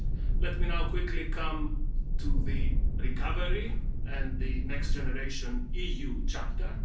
Let me now quickly come to the recovery and the Next Generation EU chapter.